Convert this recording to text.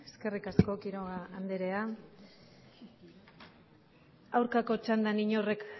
eskerrik asko quiroga anderea aurkako txandan inork